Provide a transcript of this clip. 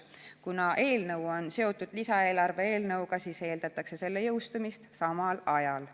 Kuna eelnõu on seotud lisaeelarve eelnõuga, siis eeldatakse selle jõustumist samal ajal.